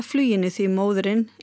fluginu því móðirin